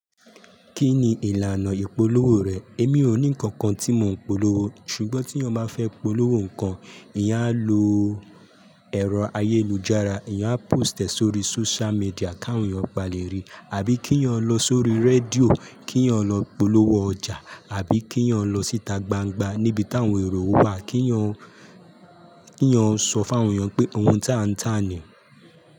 Kí ni ìlànà ìpolówó rẹ̀? Èmi ò ní ǹkan kan tí mò ń polówó, ṣùgbọ́n tí yan bá fẹ́ polówó ǹkan, ìyán a lọ ẹ̀rọ ayélujára, èyàn á post ẹ̀ sóri social media k'àwọn èyàn ba lè ri, àbí kí'yàn lọ sórí rédíò, kí'yàn lọ polówó ọjà àbí kí'yàn lọ s'íta gbangba n'íbi t'áwọn èrò wà, kí'yàn sọ f'áwọn èyàn pé ohun t'à ń tà nìí.